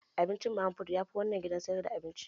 Abincin mama fut yafi na wannan gidan sayar da abinci